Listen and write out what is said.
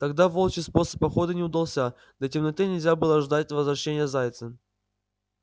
тогда волчий способ охоты не удался до темноты нельзя было ждать возвращения зайца